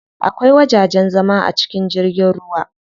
Akwai wajajen zama a cikin jirgin ruwa.